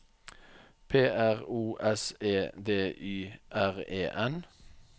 P R O S E D Y R E N